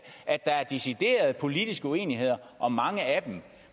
er deciderede politiske uenigheder om mange af dem